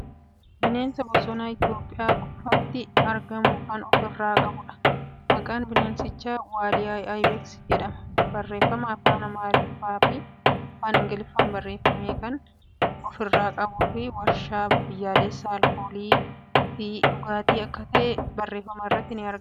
Bineensa bosonaa Itiyoophiyyaa qofati argamu kan ofirraa qabuudha. Maqaan bineensichaa Waaliyyaa Ibex jedhama. Barreeffama afaan Amaarriffaa fii afaan Ingiliffaan barreeffame kan ofirraa qabuu fii waarshaa biyyoolessa aalkoolii fii dhugaatii akka ta'e barreeffama irraa hubachuun ni danda'ama